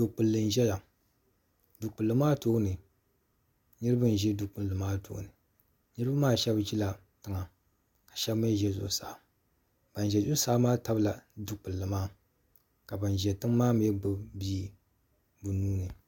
du kpulli n ʒɛya du kpulli maa tooni niraba n ʒi du kpulli maa tooni niraba maa shab ʒila tiŋa ka shab mii ʒɛ zuɣusaa ban ʒɛ zuɣusaa maa tabila du kpulli maa ka ban ʒɛ tiŋ maa mii gbubi bia bi nuuni